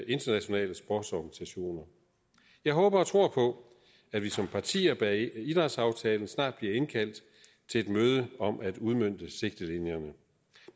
internationale sportsorganisationer jeg håber og tror på at vi som partier bag idrætsaftalen snart bliver indkaldt til møde om at udmønte sigtelinjerne